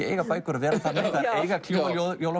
eiga bækur að vera þannig þær eiga að kljúfa